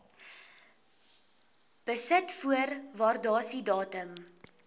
besit voor waardasiedatum